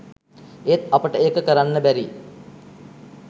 ඒත් අපට ඒක කරන්න බැරි